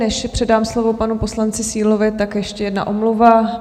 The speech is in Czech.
Než předám slovo panu poslanci Sílovi, tak ještě jedna omluva.